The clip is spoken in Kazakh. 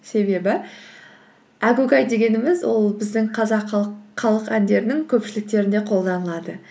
себебі әгугай дегеніміз ол біздің қазақ халық әндерінің көпшіліктерінде қолданылады